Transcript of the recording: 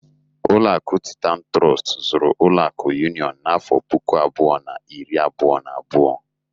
Ụlọakụ Titan Trọst zụrụ ụlọakụ Union n'afọ puku abụọ na iri abụọ na abụọ.